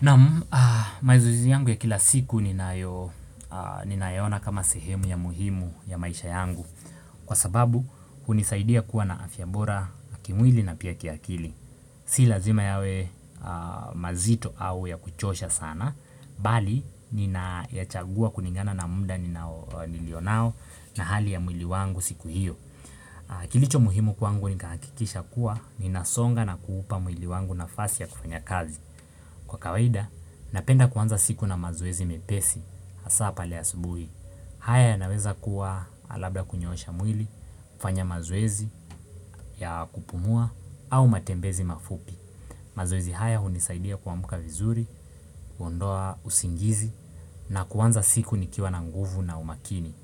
Naam mazoezi yangu ya kila siku nina yaona kama sehemu ya muhimu ya maisha yangu Kwa sababu, hunisaidia kuwa na afya bora kimwili na pia kiakili Si lazima yawe mazito au ya kuchosha sana Bali, ninayachagua kulingana na mda nilionao na hali ya mwili wangu siku hiyo Kilicho muhimu kwangu, nikaakikisha kuwa ninasonga na kuupa muili wangu nafasi ya kufanya kazi Kwa kawaida, napenda kuanza siku na mazoezi mepesi, asa pale asubuhi. Haya yanaweza kuwa labda kunyoosha mwili, kufanya mazoezi ya kupumua au matembezi mafupi. Mazoezi haya unisaidia kuamka vizuri, kuondoa usingizi na kuanza siku nikiwa na nguvu na umakini.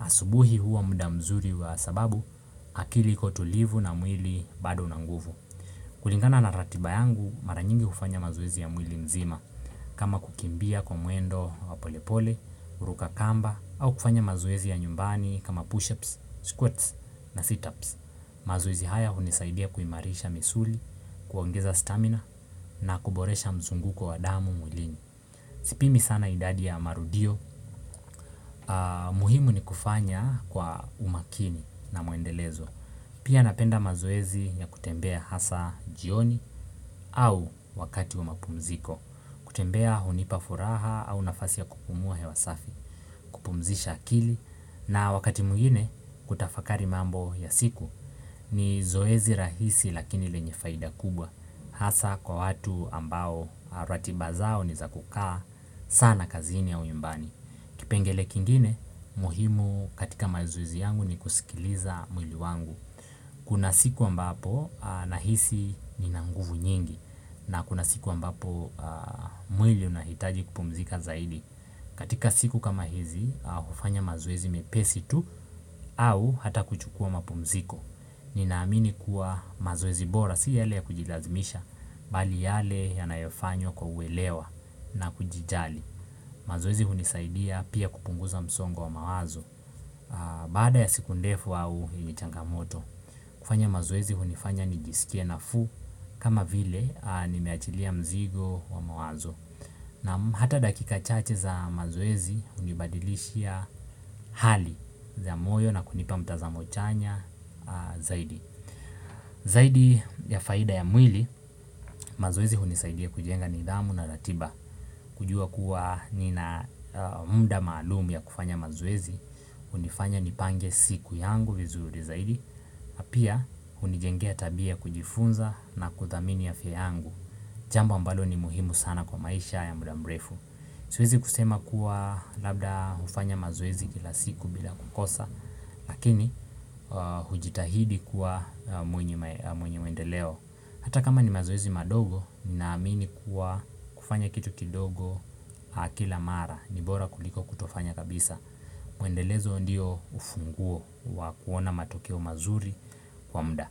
Asubuhi huwa mda mzuri wa sababu akili kutulivu na mwili bado una nguvu. Kulingana na ratiba yangu maranyingi ufanya mazoezi ya mwili mzima. Kama kukimbia kwa mwendo wapolepole, kuruka kamba, au kufanya mazoezi ya nyumbani kama push-ups, squirts na sit-ups. Mazoezi haya unisaidia kuimarisha misuli, kuongeza stamina na kuboresha mzunguko wadamu mwilini. Sipimi sana idadi ya marudio, muhimu ni kufanya kwa umakini na mwendelezo. Pia napenda mazoezi ya kutembea hasa jioni au wakati wamapumziko. Kutembea hunipafuraha au nafasi ya kukumua hewa safi Pumzisha akili na wakati mwingine kutafakari mambo ya siku ni zoezi rahisi lakini lenye faida kubwa Hasa kwa watu ambao ratiba zao nizakukaa sana kazini ya nyumbani Kipengele kingine muhimu katika mazoezi yangu ni kusikiliza mwili wangu Kuna siku ambapo nahisi nina nguvu nyingi na kuna siku ambapo mwili unahitaji kupumzika zaidi katika siku kama hizi, hufanya mazoezi mepesi tu au hata kuchukua mapumziko Ninaamini kuwa mazoezi bora si yale ya kujilazimisha Bali yale yanayofanywa kwa uwelewa na kujijali mazoezi hunisaidia pia kupunguza msongo wa mawazo Bada ya siku ndefu au yenye changamoto kufanya mazoezi hunifanya nijisikia nafuu kama vile nimeachilia mzigo wa mawazo Naam hata dakika chache za mazoezi unibadilishia hali ya moyo na kunipa mtazamo chanya zaidi Zaidi ya faida ya mwili, mazoezi unisaidia kujenga nidhamu na ratiba kujua kuwa nina mda maalumu ya kufanya mazoezi hunifanya nipange siku yangu vizuri zaidi pia hunijengea tabia kujifunza na kuthamini afya yangu Jambo ambalo ni muhimu sana kwa maisha ya mda mrefu Siwezi kusema kuwa labda ufanya mazoezi kila siku bila kukosa Lakini hujitahidi kuwa mwenye mwendeleo Hata kama ni mazoezi madogo Ninaamini kuwa kufanya kitu kidogo kila mara Nibora kuliko kutofanya kabisa Mwendelezo ndio ufunguo wa kuona matokeo mazuri kwa mda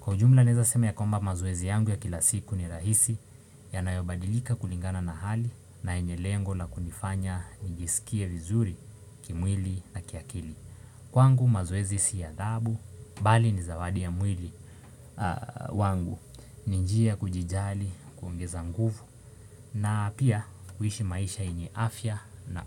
Kwa jumla naeza sema ya kwamba mazoezi yangu ya kila siku ni rahisi yanayobadilika kulingana na hali na enye lengo la kunifanya nijisikie vizuri kimwili na kiakili. Kwangu mazoezi si adhabu, bali ni zawadi ya mwili wangu, ni njia kujijali, kuongeza nguvu, na pia kuishi maisha yenye afya na.